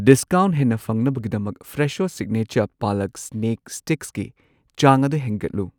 Discount ꯍꯦꯟꯅ ꯐꯪꯅꯕꯒꯤꯗꯃꯛ Fresho signature palak snack ꯁ꯭ꯇꯤꯛꯁꯀꯤ ꯆꯥꯡ ꯑꯗꯨ ꯍꯦꯟꯒꯠꯂꯨ꯫